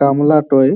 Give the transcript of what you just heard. গামলাটোয়।